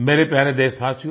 मेरे प्यारे देशवासियो